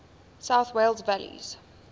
south wales valleys